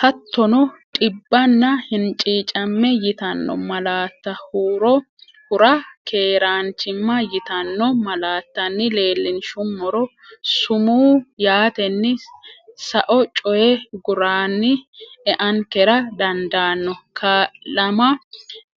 Hattono, dhibbanna hinciicamme yitanno malaatta huro hura keeraan chimma yitanno malaattanni leellinshummoro, sumuu yaatenni sao coyi guraanni eankera dandaanno, Kaa’lama